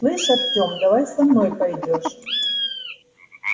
слышь артём давай со мной пойдёшь